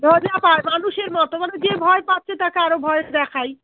মজা পায় মানুষের মতো মানে যে ভয় পাচ্ছে তাকে আরো ভয় দেখাই